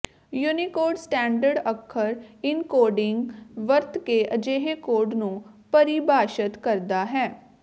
Unicode standard ਅੱਖਰ encoding ਵਰਤ ਕੇ ਅਜਿਹੇ ਕੋਡ ਨੂੰ ਪਰਿਭਾਸ਼ਤ ਕਰਦਾ ਹੈ